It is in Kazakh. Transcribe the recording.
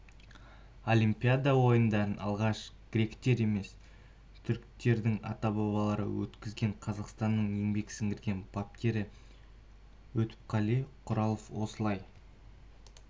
олимпиада ойындарын алғаш гректер емес түріктердің ата-бабалары өткізген қазақстанның еңбек сіңірген бапкері өтепқали құралов осылай